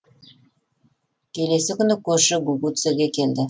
келесі күні көрші гугуцэге келді